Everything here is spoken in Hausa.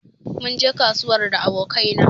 Mun je kasuwar da aboƙanai na